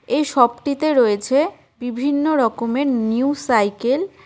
এই শপটিতে রয়েছে বিভিন্ন রকমের নিউ সাইকেল ।